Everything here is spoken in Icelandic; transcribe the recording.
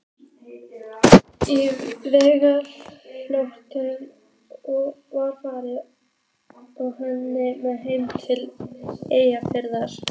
Í vertíðarlok var farið með hann heim til Eskifjarðar.